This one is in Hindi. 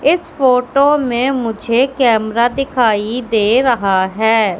इस फोटो में मुझे कैमरा दिखाई दे रहा है।